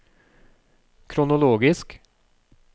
kronologisk